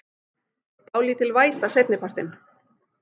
Dálítil væta seinni partinn